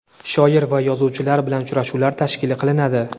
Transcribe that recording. shoir va yozuvchilar bilan uchrashuvlar tashkil qilinadi.